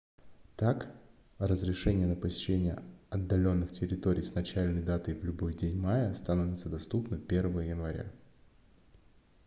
так разрешение на посещение отдаленных территорий с начальной датой в любой день мая становится доступно 1 января